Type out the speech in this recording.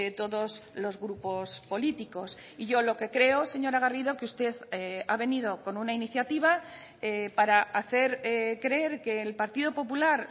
todos los grupos políticos y yo lo que creo señora garrido que usted ha venido con una iniciativa para hacer creer que el partido popular